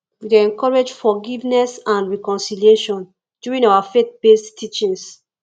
we dey encourage forgiveness and reconciliation during our faithbased teachings